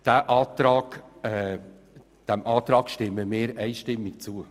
Wir stimmen dieser Planungserklärung einstimmig zu.